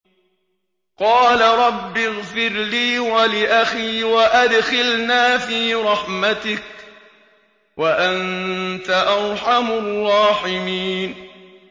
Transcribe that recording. قَالَ رَبِّ اغْفِرْ لِي وَلِأَخِي وَأَدْخِلْنَا فِي رَحْمَتِكَ ۖ وَأَنتَ أَرْحَمُ الرَّاحِمِينَ